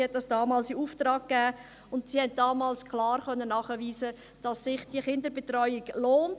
Die Studie konnte damals klar nachweisen, dass sich diese Kinderbetreuung lohnt.